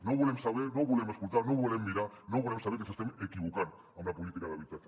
no ho volem saber no ho volem escoltar no ho volem mirar no volem saber que ens estem equivocant amb la política d’habi·tatge